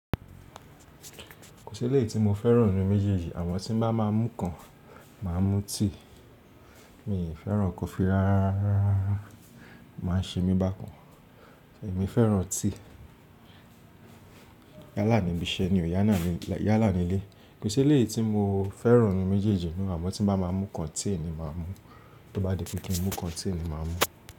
Kò sí eleyi tí mo fẹ́ràn ninu méjèèjì. Àmo tí n bá máa mú kan, màá mú tea. Mí fẹ́ràn kọfí rárá, o máa ń ṣe mí bákan. Èmi fẹ́ràn tea. Yálà níbi iṣẹ́ ni, yálà nílé. Kò sí eléyi tí mo fẹ́ràn nínu méjèèjì. Àmọ́ tí ń bá máa mú kan, tea ni màá mú. Tó bá di pé kí n mú kan, tea ni màá mú.